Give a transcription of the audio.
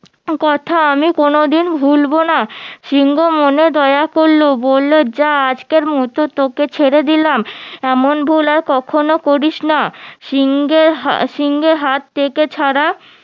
কথা আমি কোনোদিন ভুল বোনা সিংহ মনে দয়া করলো বললো যা আজকের মতো তোকে ছেড়ে দিলাম এমন ভুল আর কখনো করিসনা সিংহের সিংহের হাত থেকে ছাড়া